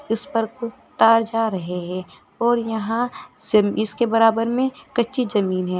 इस पर तार जा रहे हैं और यहां से इसके बराबर में कच्ची जमीन है।